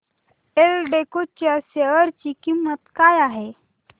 एल्डेको च्या शेअर ची किंमत काय आहे